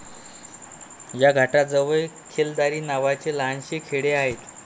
या घाटाजवळ खेलदारी नावाचे लहानसे खेडे आहे.